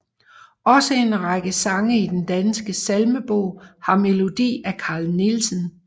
Også en række sange i Den Danske Salmebog har melodi af Carl Nielsen